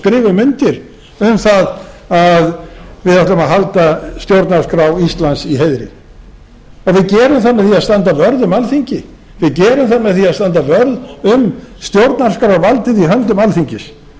skrifum undir um það að við ætlum að halda stjórnarskrá íslands í heiðri en við gerum það með því að standa vörð um alþingi við gerum það með því að standa vörð um stjórnarskrárvaldið í höndum alþingis